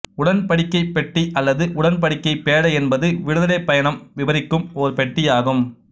உடன்படிக்கைப் பெட்டி அல்லது உடன்படிக்கைப் பேழை என்பது விடுதலைப் பயணம் விபரிக்கும் ஓர் பெட்டியாகும்